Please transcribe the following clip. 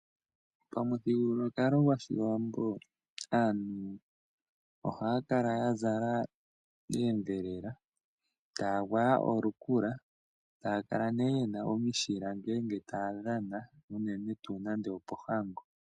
Omuthigululwakalo gwoshiwambo aantu ohaya kala yazala oondhelela taa gwaya olukula, taya kala nee yena omishila ngele taya dhana unene tuu nande opo hango.